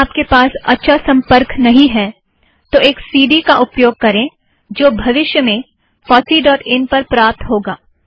यदि आपके पास अच्छा संपर्क नहीं है तो एक सी डी का उपयोग करें जो भविष्य में fosseइन फॉस्सी डॉट इन पर प्राप्त होगा